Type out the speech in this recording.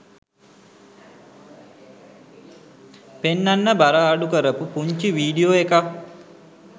පෙන්නන්න බර අඩු කරපු පුංචි වීඩියෝ එකක්.